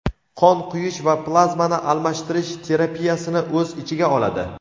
qon quyish va plazmani almashtirish terapiyasini o‘z ichiga oladi.